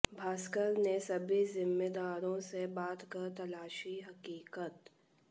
भास्कर ने सभी जिम्मेदारों से बात कर तलाशी हकीकत